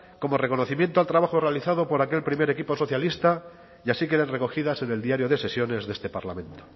como reconocimiento al trabajo realizado por aquel primer equipo socialista y así queden recogidas en el diario de sesiones de este parlamento